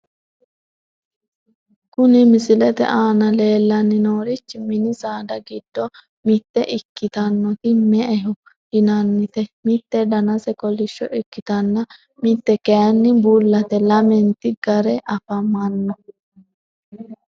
Kuni misilete aana leellanni noorichi mini saada giddo mitte ikkitinoti me''eho yinannite .mitte danase kolishsho ikkitanna mitte kayiinni bullate, lamenti gare afamanno.